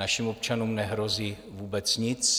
Našim občanům nehrozí vůbec nic.